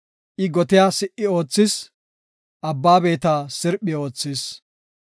I gotiya si77i oothis; abba beeta sirphi oothis.